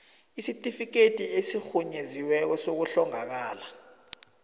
isitifikhethi esirhunyeziweko sokuhlongakala